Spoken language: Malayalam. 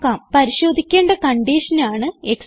പരിശോധിക്കേണ്ട കൺഡിഷനാണ് എക്സ്പ്രഷൻ